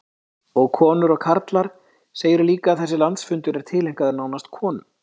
Og konur og karlar, segirðu líka, þessi landsfundur er tileinkaður nánast konum?